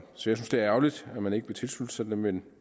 synes det er ærgerligt at man ikke vil tilslutte sig det men